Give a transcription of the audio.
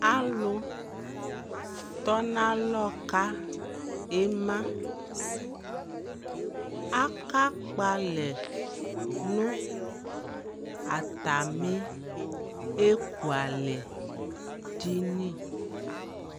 Aluu tɔnalɔ ka imaa Aka kpalɛ nu atami ekwalɛ dini